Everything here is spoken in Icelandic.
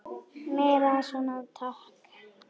Meira svona takk.